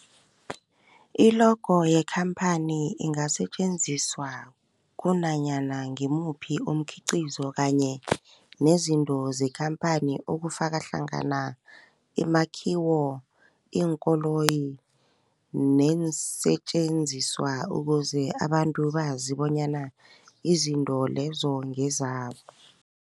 I-logo yekhamphani ingasetjenziswa kunanyana ngimuphi umkhiqizo kanye nezinto zekhamphani okufaka hlangana imakhiwo, iinkoloyi neensentjenziswa ukuze abantu bazi bonyana izinto lezo ngezabo.